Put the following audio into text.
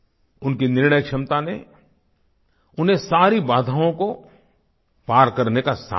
उनके निर्णय क्षमता ने उन्हें सारी बाधाओं को पार करने का सामर्थ्य दिया